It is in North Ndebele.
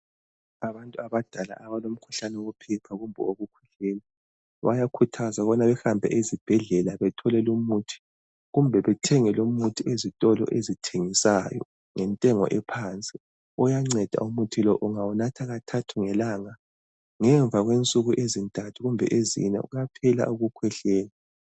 Abantu abadala abalomkhuhlane wophepha kumbe owokukhwehlela bayakhuthzwa ukubana behambe ezibhedlela bethole lo umuthi, kumbe bethenge lo umuthi ezitolo ezithengisayo , ngentengo ephansi, uyanceda umuthi lo ungawunatha kathathu ngelanga ngemva kwe nsuku ezintathu kumbe ezinye kuyaphela ukukhwehlela.